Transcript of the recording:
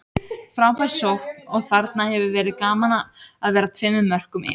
Frábær sókn og þarna hefði verið gaman að vera tveimur mörkum yfir.